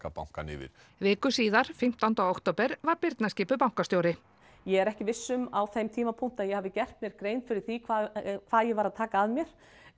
bankann yfir viku síðar fimmtánda október var Birna skipuð bankastjóri ég er ekki viss um á þeim tímapunkti að ég hafi gert mér grein fyrir því hvað hvað ég var að taka að mér